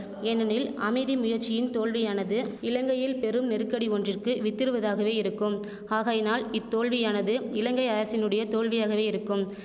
ஏனெனில் அமைதி முயற்சியின் தோல்வியானது இலங்கையில் பெரும் நெருக்கடி ஒன்றிற்கு வித்திடுவதாகவே இருக்கும் ஆகையினால் இத்தோல்வியானது இலங்கை அரசினுடைய தோல்வியாகவே இருக்கும்